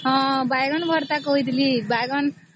ହଁ ବାଇଗଣ ଭର୍ତ୍ତା କହିଥିଲି